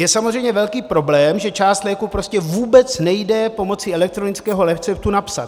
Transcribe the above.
Je samozřejmě velký problém, že část léků prostě vůbec nejde pomocí elektronického receptu napsat.